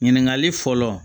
Ɲininkali fɔlɔ